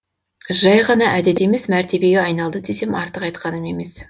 жай ғана әдет емес мәртебеге айналды десем артық айтқаным емес